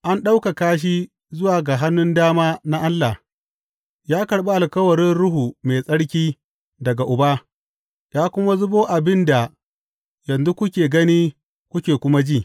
An ɗaukaka shi zuwa ga hannun dama na Allah, ya karɓi alkawarin Ruhu Mai Tsarki daga Uba, ya kuma zubo abin da yanzu kuke gani kuke kuma ji.